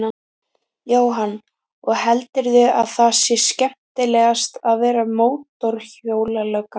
Jóhann: Og heldurðu að það sé skemmtilegast að vera mótorhjólalögga?